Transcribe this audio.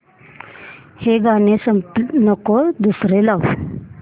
हे गाणं नको दुसरं लाव